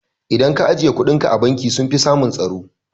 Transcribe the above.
Idan ka ajiye kuɗinka a banki sunfi samun tsaro